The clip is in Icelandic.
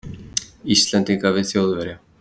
Íslendinga við Þjóðverja.